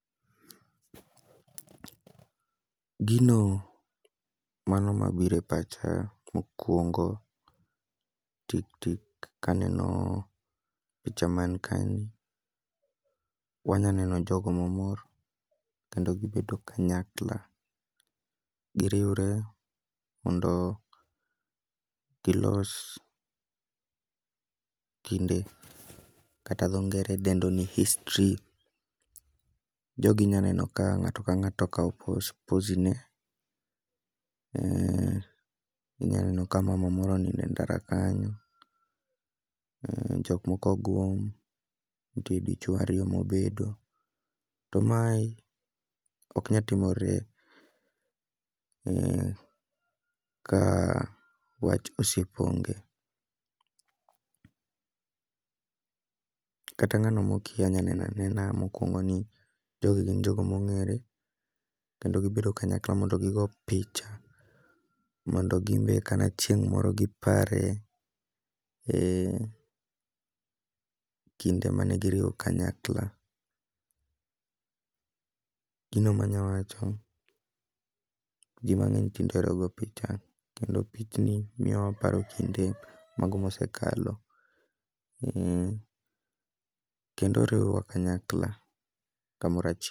Gino mano ma bire pacha mokwongo tik tik kaneno picha man kae ni, wanya neno jogo ma mor kendo gibedo kanyakla. Giriwre mondo gilos kinde kata dho ngere dendo ni history, jogi inya neno ka ng'ato ka ng'ato okawo pos, pozi ne. Inya neno ka mama moro onide ndara kanyo, jok moko ogwom, to nitie dichwo ariyo mobedo. To mae ok nyatimore ka wach osiep onge. Kata ng'ano mkia nya nena nena mokwongo ni jogi gin jogo mong'ere, kendo gibedo kanyakla mondo gigo picha. Mondo gimbe kata chieng' moro gipare, kinde mane giriwo kanyakla. Gino manya wacho, ji mang'eny tinde ohero go picha, kendo pichni miyo waparo kinde mago mosekalo. Kendo riwowa kanyakla, kamora ch.